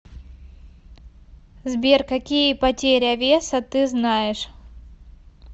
сбер какие потеря веса ты знаешь